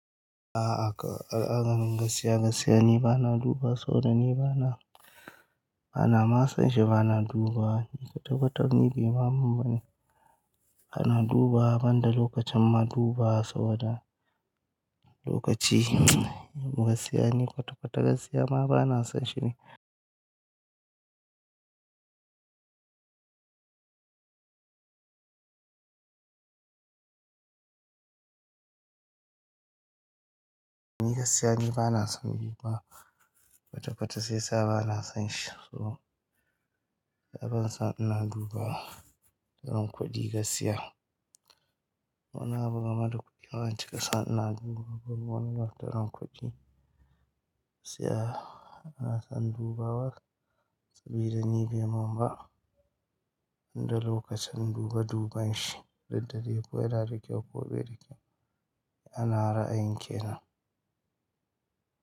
A'a ka, al'amarin gaskiya, gaskiiya ni bana duba saboda ni bana, bana ma son shiga ina dubawa. Kwata-kwata abun bai mamun bane. Ana dubawa banda lokacin ma dubawa saboda lokaci. Gasiya ni, kwata-kwata gasiya ma bana son shi ne. Ni gaskiya ni bana son yi ba kwata-kwata shiyasa bana son shi. So ban son ina dubawa dan kuɗi gaskiya. Wannan abu game da kuɗi bancika son ina duba ban wani dan kuɗi gaskiya. Kana son dubawa sabida ni bai mun ba. Inda lokacin dube duben shi, duddai ko yana kyau ko baida kyau ba ana ra'ayin ke nan.